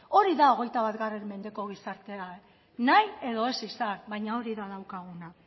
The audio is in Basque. hori da hogeita bat mendeko gizartea nahi edo ez izan baina hori da daukaguna